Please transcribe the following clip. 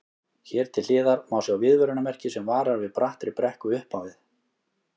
Hér til hliðar má sjá viðvörunarmerki sem varar við brattri brekku upp á við.